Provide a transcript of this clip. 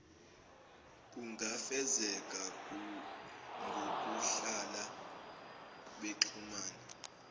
kungafezeka ngokuhlala bexhumana